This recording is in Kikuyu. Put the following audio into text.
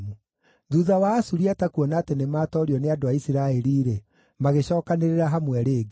Thuutha wa Asuriata kuona atĩ nĩmatoorio nĩ andũ a Isiraeli-rĩ, magĩcookanĩrĩra hamwe rĩngĩ.